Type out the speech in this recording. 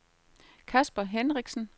Kasper Henriksen